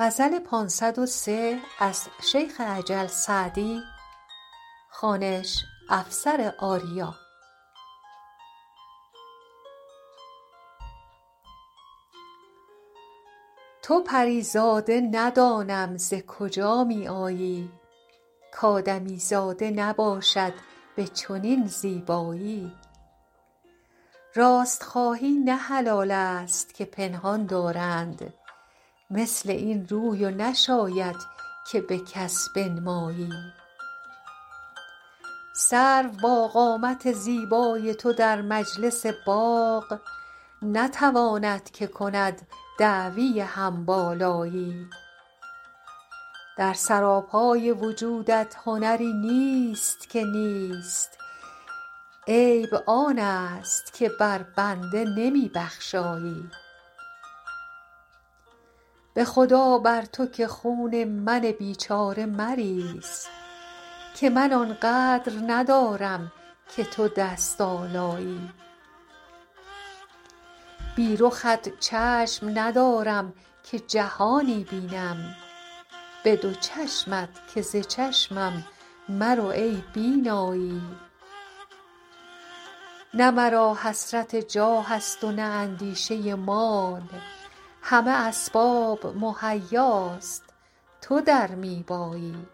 تو پری زاده ندانم ز کجا می آیی کآدمیزاده نباشد به چنین زیبایی راست خواهی نه حلال است که پنهان دارند مثل این روی و نشاید که به کس بنمایی سرو با قامت زیبای تو در مجلس باغ نتواند که کند دعوی هم بالایی در سراپای وجودت هنری نیست که نیست عیبت آن است که بر بنده نمی بخشایی به خدا بر تو که خون من بیچاره مریز که من آن قدر ندارم که تو دست آلایی بی رخت چشم ندارم که جهانی بینم به دو چشمت که ز چشمم مرو ای بینایی نه مرا حسرت جاه است و نه اندیشه مال همه اسباب مهیاست تو در می بایی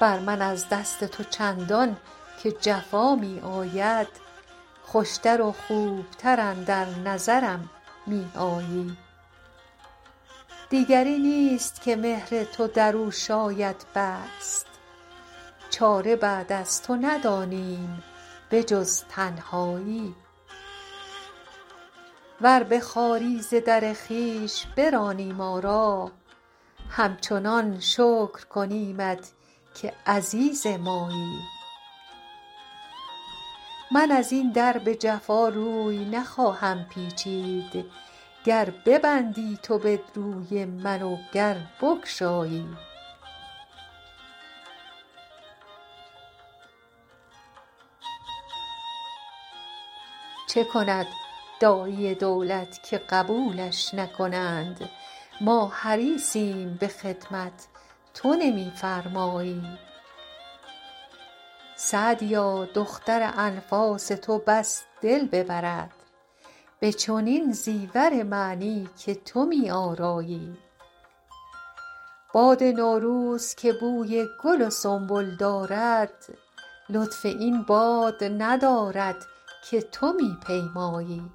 بر من از دست تو چندان که جفا می آید خوش تر و خوب تر اندر نظرم می آیی دیگری نیست که مهر تو در او شاید بست چاره بعد از تو ندانیم به جز تنهایی ور به خواری ز در خویش برانی ما را همچنان شکر کنیمت که عزیز مایی من از این در به جفا روی نخواهم پیچید گر ببندی تو به روی من و گر بگشایی چه کند داعی دولت که قبولش نکنند ما حریصیم به خدمت تو نمی فرمایی سعدیا دختر انفاس تو بس دل ببرد به چنین زیور معنی که تو می آرایی باد نوروز که بوی گل و سنبل دارد لطف این باد ندارد که تو می پیمایی